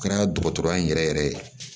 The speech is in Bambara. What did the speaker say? Kɛra dɔgɔtɔrɔya in yɛrɛ yɛrɛ ye